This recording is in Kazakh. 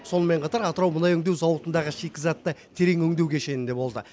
сонымен қатар атырау мұнай өңдеу зауытындағы шикізатты терең өңдеу кешенінде болды